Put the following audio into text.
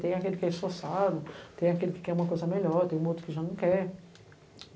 Tem aquele que é esforçado, tem aquele que quer uma coisa melhor, tem um outro que já não quer.